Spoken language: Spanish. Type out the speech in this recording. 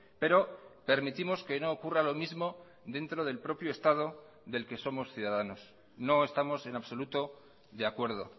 pero permitimos que no ocurra lo mismo dentro del propio estado del que somos ciudadanos no estamos en absoluto de acuerdo